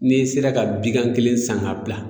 N'i sera ka bigan kelen san k'a bila